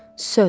Söz.